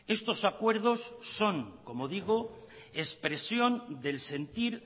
estos acuerdos son como digo expresión del sentir